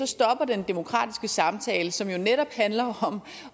stopper den demokratiske samtale som jo netop handler om